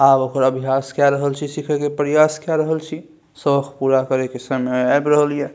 आब ओकर अभ्यास के रहल छै सीखे के प्रयास के रहल छी शोख पूरा करे के समय ऐब रहल ये।